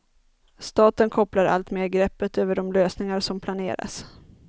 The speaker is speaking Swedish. Staten kopplar allt mer greppet över de lösningar som planeras.